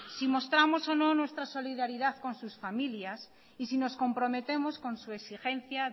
si mostramos o no nuestra solidaridad con sus familias y si nos comprometemos con su exigencia